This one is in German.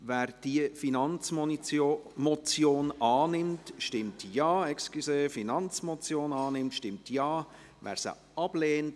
Wer diese Finanzmotion annimmt, stimmt Ja, wer diese ablehnt, stimmt Nein.